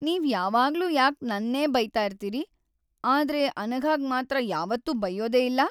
ನೀವ್ ಯಾವಾಗ್ಲೂ ಯಾಕ್ ನನ್ನೇ ಬೈತಾ ಇರ್ತೀರಿ, ಆದ್ರೆ ಅನಘಾಗ್‌ ಮಾತ್ರ ಯಾವತ್ತೂ ಬೈಯ್ಯೋದೇ ಇಲ್ಲ?